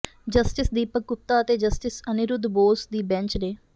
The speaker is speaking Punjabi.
ਜਸਟਿਸ ਦੀਪਕ ਗੁਪਤਾ ਅਤੇ ਜਸਟਿਸ ਅਨਿਰੁਧ ਬੋਸ ਦੀ ਬੈਂਚ ਨੇ